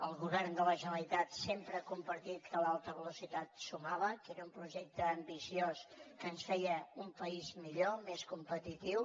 el govern de la generalitat sempre ha compartit que l’alta velocitat sumava que era un projecte ambiciós que ens feia un país millor més competitiu